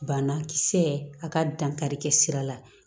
Banakisɛ a ka dankarikɛ sira la